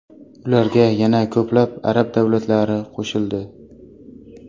Ularga yana ko‘plab arab davlatlari qo‘shildi.